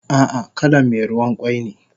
Ah ah kalan me ruwan kwai ne